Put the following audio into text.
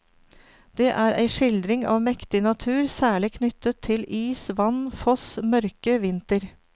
Det er ei skildring av mektig natur, særlig knyttet til is, vann, foss, mørke, vinter.